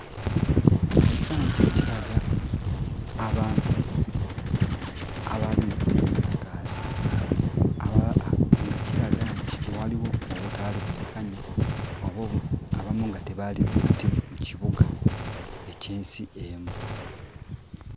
Ekifaananyi kino kiraga abantu abaali mu kwekalakaasa, nga kiraga nti waaliwo obutaali bwenkanya oba abamu nga tebaali bamativu mu kibuga eky'ensi emu.